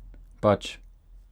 Pač!